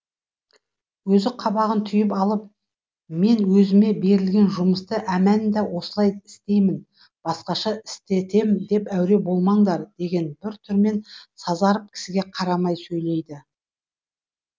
өзі қабағын түйіп алып мен өзіме берілген жұмысты әмәнда осылай істеймін басқаша істетем деп әуре болмаңдар деген бір түрмен сазарып кісіге қарамай сөйлейді